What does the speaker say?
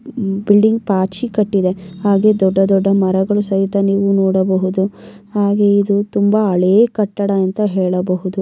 building ಪಾಚಿ ಕಟ್ಟಿದೆ ಹಾಗೆ ದೊಡ್ಡ ದೊಡ್ಡ ಮರಗಳು ಸಹಿತ ನೀವು ನೋಡಬಹುದು ಹಾಗೆ ಇದು ತುಂಬಾ ಹಳೆ ಕಟ್ಟಡ ಅಂತ ಹೇಳಬಹುದು-